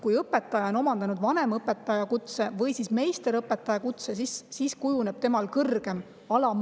Kui õpetaja on omandanud vanemõpetaja kutse või meisterõpetaja kutse, siis tema palga alammäär on kõrgem.